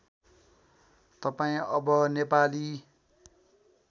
तपाईँ अब नेपाली